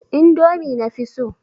Indomi na fi so.